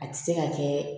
A tɛ se ka kɛ